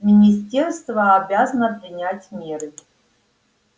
министерство обязано принять меры